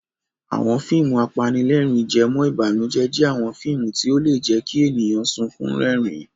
Àwọn fíìmù apanílẹ̀rín-jẹmọ́-ìbànújẹ́ jẹ́ àwọn fíìmù tí ó lè jẹ́ kí ènìyàn sunkún rẹ́rìn-ín.